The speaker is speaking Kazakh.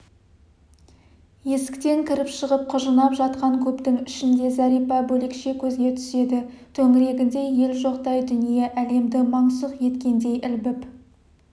есіктен кіріп-шығып құжынап жатқан көптің ішінде зәрипа бөлекше көзге түседі төңірегінде ел жоқтай дүние әлемді мансұқ еткендей ілбіп